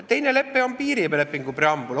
Teine lepe on piirilepingu preambul.